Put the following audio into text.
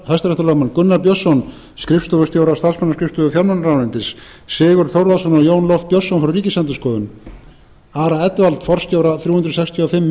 hrl gunnar björnsson skrifstofustjóra starfsmannaskrifstofu fjármálaráðuneytis sigurð þórðarson og jón loft björnsson frá ríkisendurskoðun ara edwald forstjóra þrjú hundruð sextíu og fimm